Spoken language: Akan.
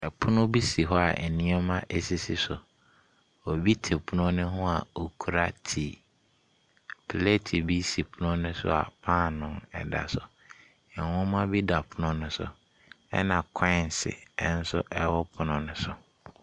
Pono bi si hɔ a nneɛma asisi so. Obi te pono ne ho a okura tii. Plate bi si pono no so a paano ɛda so. Nwoma bi da pono no so, ɛna kɔɛnse nso ɛwɔ pono ne so.